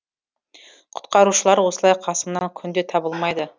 құтқарушылар осылай қасыңнан күнде табылмайды